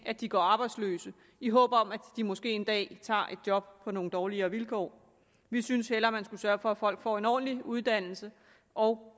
at de går arbejdsløse i håb om at de måske en dag tager et job på nogle dårligere vilkår vi synes hellere at man skulle sørge for at folk får en ordentlig uddannelse og